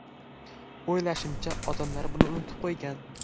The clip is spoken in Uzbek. O‘ylashimcha, odamlar buni unutib qo‘ygan.